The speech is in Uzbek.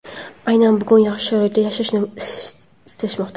aynan bugun yaxshi sharoitda yashashni istashmoqda.